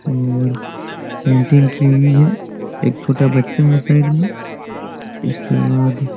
और पेंटिंग कि हुई हैएक छोटा बच्चा है साइड में उसके बाद--